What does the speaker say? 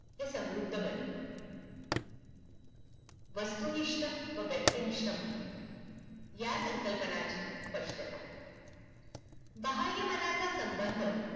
हे समृद्ध बनेल. वस्तुनिष्ठ व व्यक्तिनिष्ठ मन. या संकल्पनांची स्पष्टता. बाह्यमनाचा संबंध